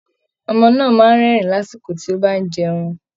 Ọmọ náà máa ń rẹ́rìn-ín lásìkò tó bá ń jẹun